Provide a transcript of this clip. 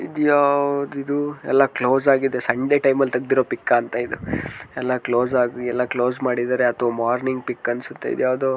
ಇದ್ ಯಾವುದು ಇದು ಎಲ್ಲ ಕ್ಲೋಸ್ ಆಗಿದೆ ಸಂಡೆ ಟೈಮ್ ಅಲ್ ತೆಗ್ದಿರೋ ಪಿಕ್ ಅಂತ ಇದು ಎಲ್ಲ ಕ್ಲೋಸ್ ಮಾಡಿದ್ದಾರೆ ಅಥವಾ ಮಾರ್ನಿಂಗ್ ಪಿಕ್ ಅನ್ಸುತ್ತೆ ಇದ್ ಯಾವುದೊ--